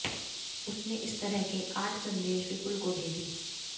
उसने इस तरह के आठ संदेश विपुल को भेजे